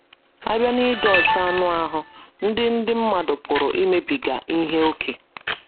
A bịa n’ịdị ọcha anụ ahụ́, ndị ndị mmadụ pụrụ imebiga ihe ókè.